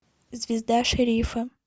звезда шерифа